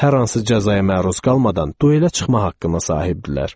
Hər hansı cəzaya məruz qalmadan duelə çıxmaq haqqına sahib idilər.